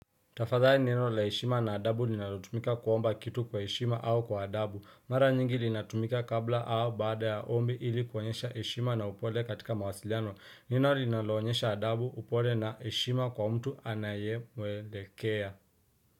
Tafadhali neno la heshima na adabu linalotumika kuomba kitu kwa heshima au kwa adabu. Mara nyingi linatumika kabla au bada ya ombi ili kuhonyesha ishima na upole katika mawasiliano. Neno linalonyesha adabu upole na ishima kwa mtu anaye mwelekea.